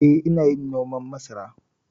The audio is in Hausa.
Eh, ina yin noman masara.